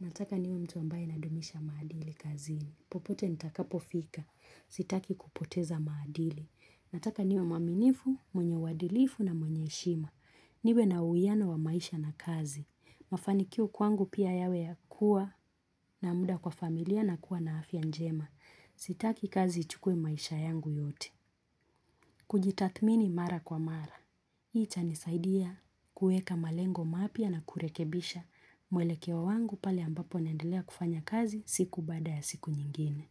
nataka niwe mtu ambaye nadumisha maadili kazini. Popote nitakapofika. Sitaki kupoteza maadili. Nataka niwe mwaminifu, mwenye uadilifu na mwenye heshima. Niwe na uwiano wa maisha na kazi. Mafanikio kwangu pia yawe ya kuwa na muda kwa familia na kuwa na afya njema. Sitaki kazi ichukuwe maisha yangu yote. Kujitathmini mara kwa mara. Hii itanisaidia kuweka malengo mapya na kurekebisha mwelekeo wangu pale ambapo naendelea kufanya kazi siku baada ya siku nyingine.